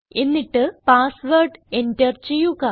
എന്നിട്ട് password enter ചെയ്യുക